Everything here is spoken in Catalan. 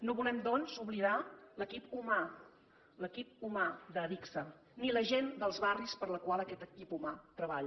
no volem doncs oblidar l’equip humà l’equip humà d’adigsa ni la gent dels barris per a la qual aquest equip humà treballa